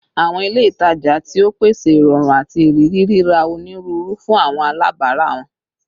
Awọn ile itaja tio pese irọrun ati iriri rira oniruuru fun awọn alabara wọn